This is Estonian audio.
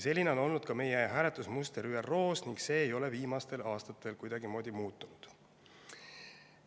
Selline on olnud ka meie hääletusmuster ÜRO-s ning see ei ole viimastel aastatel kuidagimoodi muutunud.